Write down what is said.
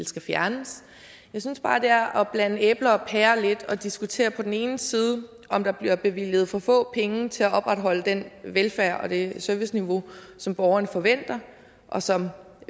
skal fjernes jeg synes bare at det er at blande æbler og pærer lidt altså at diskutere på den ene side om der bliver bevilget for få penge til at opretholde den velfærd og det serviceniveau som borgerne forventer og som